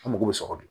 An mago bɛ sɔrɔ de